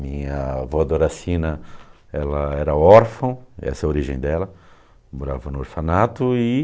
Minha avó Doracina ela era órfã, essa é a origem dela, morava no orfanato. E